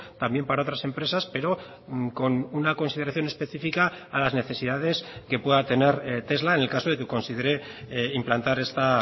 también para otras empresas pero con una consideración específica a las necesidades que pueda tener tesla en el caso de que considere implantar esta